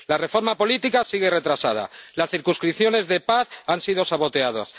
La reforma política sigue retrasada. Las circunscripciones de paz han sido saboteadas.